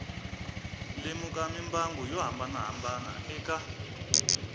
lemuka mimbangu yo hambanahambana eka